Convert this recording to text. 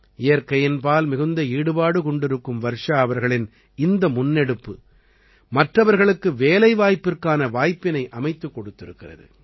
இயற்கையின்பால் மிகுந்த ஈடுபாடு கொண்டிருக்கும் வர்ஷா அவர்களின் இந்த முன்னெடுப்பு மற்றவர்களுக்கு வேலைவாய்ப்பிற்கான வாய்ப்பினை அமைத்துக் கொடுத்திருக்கிறது